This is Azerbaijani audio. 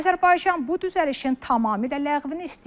Azərbaycan bu düzəlişin tamamilə ləğvini istəyir.